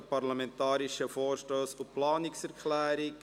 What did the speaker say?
Parlamentarische Vorstösse und Planungserklärungen».